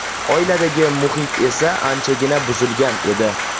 Oiladagi muhit esa anchagina buzilgan edi.